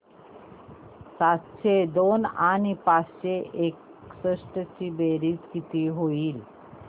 सातशे दोन आणि पाचशे एकसष्ट ची बेरीज किती होईल